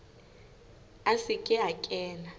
a se ke a kena